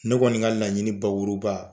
Ne kɔni ka laɲini bakuruba